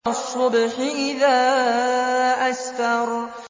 وَالصُّبْحِ إِذَا أَسْفَرَ